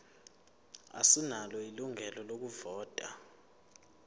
asinalo ilungelo lokuvota